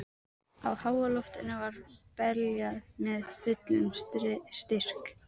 Á háaloftinu var beljað með fullum styrk